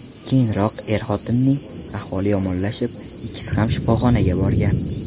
Keyinroq er-xotinning ahvoli yomonlashib, ikkisi ham shifoxonaga borgan.